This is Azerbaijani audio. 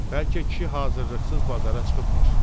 Bəlkə kişi hazırlıqsız bazara çıxıbmış?